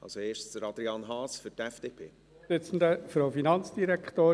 Zuerst hat Adrian Haas für die FDP das Wort.